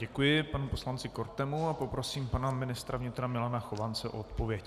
Děkuji panu poslanci Kortemu a poprosím pana ministra vnitra Milana Chovance o odpověď.